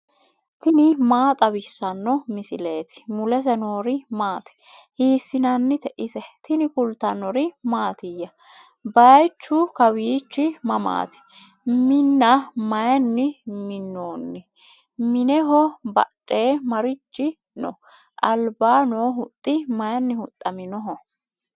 tini maa xawissanno misileeti ? mulese noori maati ? hiissinannite ise ? tini kultannori mattiya? bayiichchu kawiichchi mamaatti? Minna mayiinni minnoonni? mineho badhee marichi noo? alibba noo huxxi mayinni huxxamminnoho?